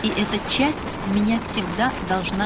и эта часть меня всегда должна